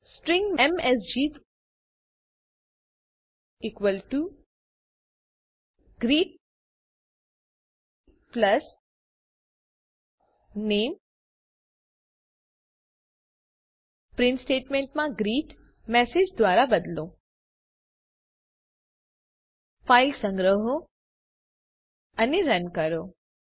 string MSG equal to greet plus નામે print સ્ટેટમેન્ટમાં greet MSG દ્વારા બદલો ફાઇલ સંગ્રહો અને રન કરો